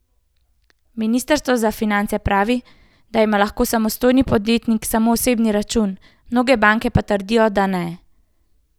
Ministrstvo za finance pravi, da ima lahko samostojni podjetnik samo osebni račun, mnoge banke pa trdijo, da ne.